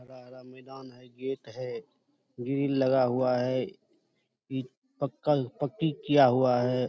हरा-हरा मैदान है। गेट है। ग्रिल लगा हुआ है पी पक्का पक्‍की किया हुआ है।